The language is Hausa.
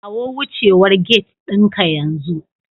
Kawo wucewar gate ɗinka yanzu